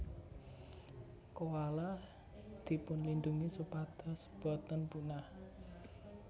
Koala dipunlindungi supados boten punah